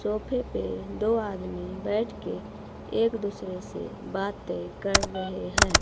सोफे पे दो आदमी बैठ के एक दूसरे से बातें कर रहे हैं।